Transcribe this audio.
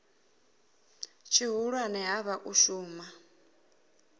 tshihulwane ha vha u shumela